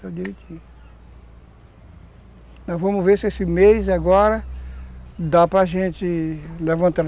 Nós vamos ver se esse mês, agora, dá para gente levantá-la.